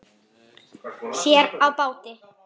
Sér á báti.